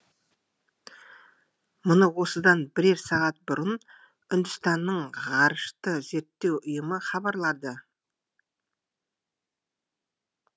мұны осыдан бірер сағат бұрын үндістанның ғарышты зерттеу ұйымы хабарлады